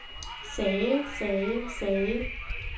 sagde sagde sagde